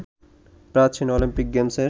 প্রাচীন অলিম্পিক গেমসের